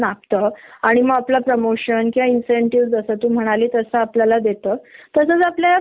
असेल की ही सहा महिन्याने सुट्टीवर जाईल उद्या हिला त्रास झाला की ही ऑन द स्पॉट नोकरी सोडेल